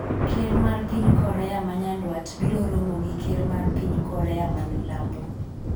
ker mar piny Korea ma Nyanduat biro romo gi ker mar piny Korea ma mamilambo